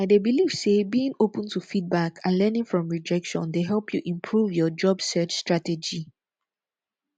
i dey believe say being open to feedback and learning from rejection dey help you improve your job search strategy